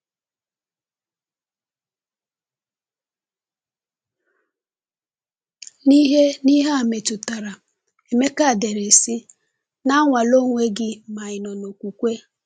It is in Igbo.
N’ihe N’ihe a metụtara, Emeka dere sị: “Na-anwale onwe gị ma ị nọ n’okwukwe.”